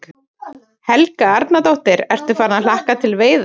Helga Arnardóttir: Ertu farinn að hlakka til að veiða?